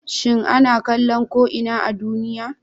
shin ana kallo ko ina a duniya?